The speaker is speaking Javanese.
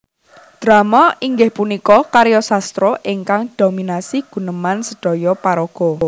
Drama inggih punika karya sastra ingkang dominasi guneman sedhoyo paraga